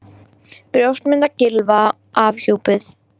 Brjóstmynd af Gylfa afhjúpuð